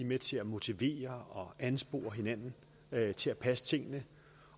med til at motivere og anspore hinanden til at passe tingene